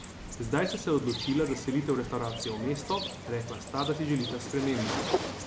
Zdaj sta se odločila za selitev restavracije v mesto, rekla sta, da si želita spremembe.